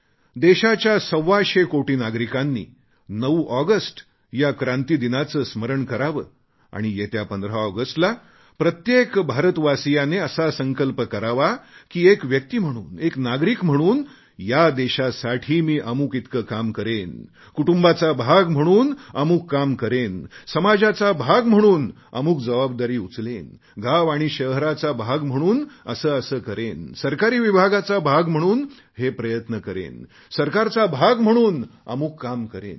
देशाच्या सव्वाशे कोटी नागरिकांनी 9 ऑगस्ट या क्रांतीदिनाचे स्मरण करावे आणि येत्या 15 ऑगस्टला प्रत्येक भारतवासीयाने असा संकल्प करावा की एक व्यक्ती म्हणून एक नागरीक म्हणून या देशासाठी मी अमुक इतके काम करेन कुटुंबाचा भाग म्हणून अमुक काम करेन समाजाचा भाग म्हणून अमुक जबाबदारी उचलेन गाव आणि शहराचा भाग म्हणून असे असे करेन सरकारी विभागाचा भाग म्हणून हे प्रयत्न करेन सरकारचा भाग म्हणून अमुक काम करेन